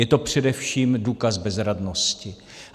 Je to především důkaz bezradnosti.